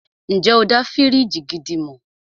Ǹjẹ́ o dá fíríjì gidi mọ̀?